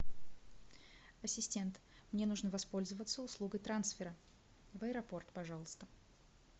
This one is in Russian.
ассистент мне нужно воспользоваться услугой трансфера в аэропорт пожалуйста